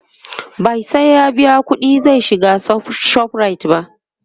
ba sai ya biya ƙuɗi zai shiga ShopRite ba